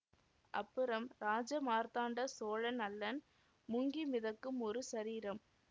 அப்புறம் ராஜமார்த்தாண்ட சோழன் அல்லன் முங்கி மிதக்கும் ஒரு சரீரம்